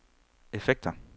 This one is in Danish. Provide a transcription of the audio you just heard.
effekter